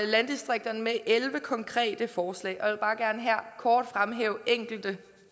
landdistrikterne med elleve konkrete forslag og jeg vil bare gerne her fremhæve enkelte